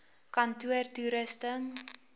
kantoortoerusting